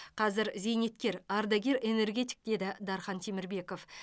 қазір зейнеткер ардагер энергетик деді дархан темірбеков